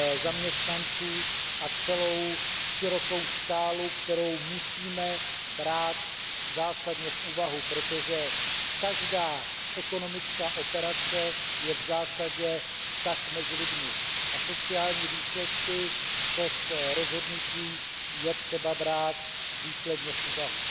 zaměstnanců a celou řadu dalších témat, která musíme brát zásadně v úvahu, protože každá ekonomická operace je v zásadě vztah mezi lidmi a sociální důsledky všech rozhodnutí je třeba brát důsledně v úvahu.